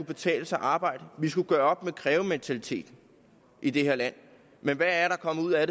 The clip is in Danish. betale sig at arbejde vi skulle gøre op med krævementaliteten i det her land men hvad er der kommet ud af